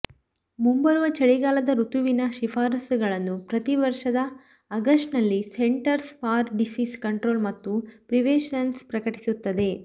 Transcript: ಮುಂಬರುವ ಚಳಿಗಾಲದ ಋತುವಿನ ಶಿಫಾರಸುಗಳನ್ನು ಪ್ರತಿ ವರ್ಷದ ಆಗಸ್ಟ್ನಲ್ಲಿ ಸೆಂಟರ್ಸ್ ಫಾರ್ ಡಿಸೀಸ್ ಕಂಟ್ರೋಲ್ ಮತ್ತು ಪ್ರಿವೆನ್ಷನ್ ಪ್ರಕಟಿಸುತ್ತದೆ